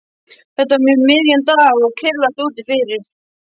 Þetta var um miðjan dag og kyrrlátt úti fyrir.